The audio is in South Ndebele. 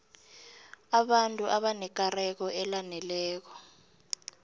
abantu abanekareko elaneleko